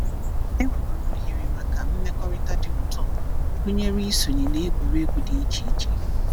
Enwekwara ohere maka mmekọrịta dị ụtọ, gụnyere isonye na egwuregwu dị iche iche.